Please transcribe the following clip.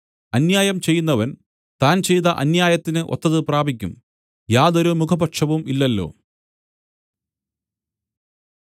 അന്യായം ചെയ്യുന്നവൻ താൻ ചെയ്ത അന്യായത്തിന് ഒത്തത് പ്രാപിക്കും യാതൊരു മുഖപക്ഷവും ഇല്ലല്ലോ